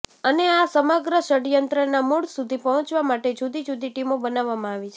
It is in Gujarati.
અને આ સમગ્ર ષડયંત્રના મૂળ સુધી પહોંચવા માટે જુદી જુદી ટીમો બનાવવામાં આવી છે